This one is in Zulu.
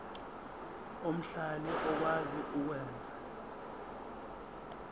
omhlali okwazi ukwenza